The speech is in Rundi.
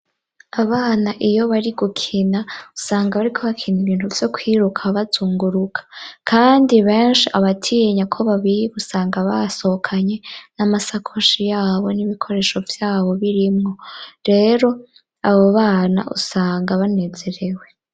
Abana iyo bari gukina usanga bariko bakina ibintu vyo kwiruka bazunguruka, kandi benshi abatinya ko babiba usanga basohokanye n'amasakoshi yabo n'ibikoresho vyabo birimwo, rero abo bana usanga banezerewe.